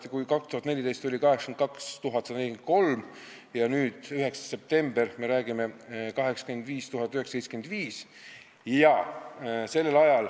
2014. aastal oli seal 82 143 inimest ja nüüd, 9. septembril, me rääkisime 85 975 inimesest.